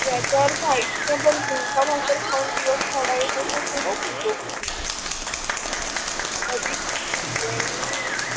याचा अर्थ आयुष्यभर झुणका भाकर खाऊन दिवस काढायचं अस थोडाच होत अधिक